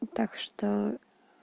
ну так что